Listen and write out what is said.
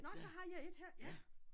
Nårh så har jeg et her ja